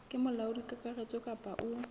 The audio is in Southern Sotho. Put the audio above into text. ke molaodi kakaretso kapa o